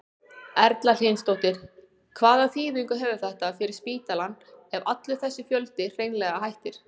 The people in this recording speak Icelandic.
Erla Hlynsdóttir: Hvaða þýðingu hefur þetta fyrir spítalann ef allur þessi fjöldi hreinlega hættir?